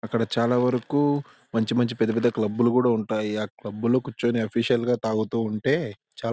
అక్కడ చాలా వరకు మంచి మంచి పెద్ద పెద్ద క్లబ్ కూడా ఉంటాయి. ఆ క్లబ్ లో కూర్చొని అఫీషియల్ గా తాగుతూ ఉంటే చాలా--